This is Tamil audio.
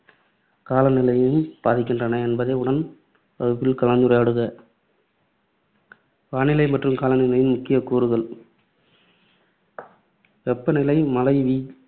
கால நிலையையும் பாதிக்கின்றன என்பதை உன் வகுப்பில் கலந்துரையாடுக. வானிலை மற்றும் காலநிலையின் முக்கியக்கூறுகள் வெப்பநிலை, மழை வீ